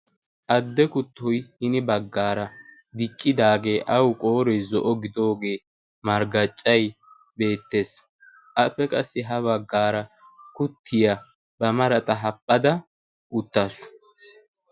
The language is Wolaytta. adde kuttay hini baggaara diccidaagee awu qoorey zo'o gidoogee marggaccay beettees appe qassi ha baggaara kuttiyaa ba marata happhada uttaasu